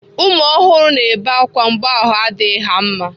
ụmụ ọhụrụ na-ebe akwa mgbe ahụ adịghị ha mma.